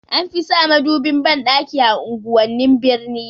Anfi sa madubin banɗaki a unguwannin birni